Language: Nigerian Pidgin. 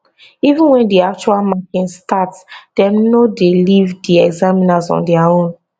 even wen di actual marking start dem no dey leave di examiners on dia own